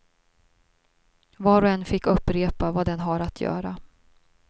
Var och en fick upprepa vad den har att göra.